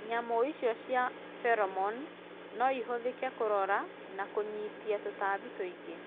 Nyamũ icio cia feromone no ihũthĩke kũrora na kũnyiita tũtambi tũingĩ.